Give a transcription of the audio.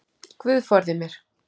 Guð forði mér.